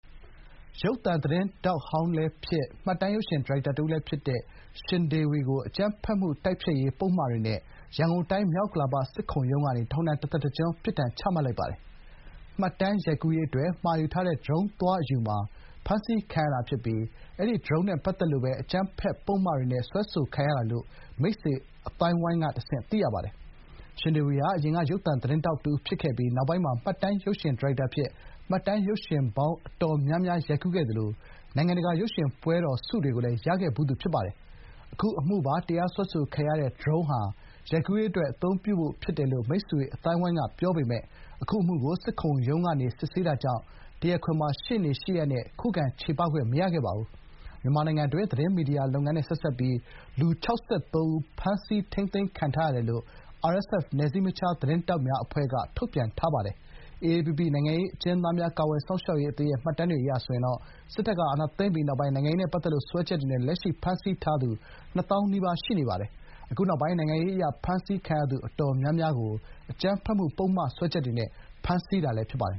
ရုပ်သံသတင်းထောက်ဟောင်းလည်းဖြစ် မှတ်တမ်းရုပ်ရှင်ဒါရိုက်တာတဦးလည်းဖြစ်သူ ရှင်ဒေဝီကို အကြမ်းဖက်မှု တိုက်ဖျက်ရေးပုဒ်မတွေနဲ့ ရန်ကုန်တိုင်း မြောက်ဥက္ကလာပ စစ်ခုံရုံးကနေ ထောင်ဒဏ်တသက်တကျွန်းပြစ်ဒဏ်ချမှတ်လိုက်ပါတယ်။ မှတ်တမ်းရိုက်ကူးရေးအတွက် မှာယူထားတဲ့ ဒရုန်းသွားအယူမှာ ဖမ်းဆီးခံရတာဖြစ်ပြီး၊ အဲဒီ ဒရုန်းနဲ့ပတ်သက်လို့ပဲ အကြမ်းဖက်ပုဒ်မတွေနဲ့ စွဲဆိုခံရတာလို့ မိတ်ဆွေအသိုင်းအဝိုင်းကတဆင့် သိရပါတယ်။ ရှင်ဒေဝီဟာ ယခင်က ရုပ်သံသတင်းထောက်တဦးဖြစ်ခဲ့ပြီး၊ နောက်ပိုင်းမှာ မှတ်တမ်းရုပ်ရှင်ဒါရိုက်တာအဖြစ် မှတ်တမ်းရုပ်ရှင်ပေါင်းအတော်များများ ရိုက်ကူးခဲ့သလို နိုင်ငံတကာရုပ်ရှင်ပွဲတော်ဆုတွေကိုလည်း ရရှိခဲ့ဖူးသူဖြစ်ပါတယ်။ အခုအမှုပါ တရားစွဲဆိုခံရတဲ့ ဒရုန်းဟာ ရိုက်ကူးရေးအတွက် အသုံးပြုဖို့ ဖြစ်တယ်လို့ မိတ်ဆွေအသိုင်းအဝိုင်းကပြောပေမယ့် အခု အမှုကို စစ်ခုံရုံးကနေ စစ်ဆေးတာကြောင့် တရားခွင်မှာ ရှေနေ ရှေ့ရပ်နဲ့ ခုခံချေပခွင့်မရခဲ့ပါဘူး။ မြန်မာနိုင်ငံတွင်း သတင်းမီဒီယာလုပ်ငန်းနဲ့ဆက်စပ်ပြီး လူ ၆၃ ဦိး ဖမ်းဆီးထိမ်းသိမ်းခံရထားတယ်လို့ RSF နယ်စည်းမခြားသတင်းထောက်များအဖွဲ့က ထုတ်ပြန်ထားပါတယ်။ AAPP နိုင်ငံရေးအကျဉ်းသားများကာကွယ်စောင့်ရှောက်ရေးအသင်းအရ စစ်တပ်ကအာဏာသိမ်းပြီးနောက် နိုင်ငံရေးနဲ့ပတ်သက်လို့ စွဲချက်တွေနဲ့ လက်ရှိ ဖမ်းဆီးထားသူ နှစ်သောင်းနီးပါး ရှိနေပါတယ်။ အခုနောက်ပိုင်း နိုင်ငံရေးအရဖမ်းဆီးခံရသူအတော်များများကို အကြမ်းဖက်မှုပုဒ်မစွဲချက်တွေနဲ့ ဖမ်းဆီးထားတာဖြစ်ပါတယ်